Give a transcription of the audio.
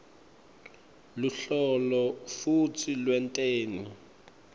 luhlolo futsi lwenteni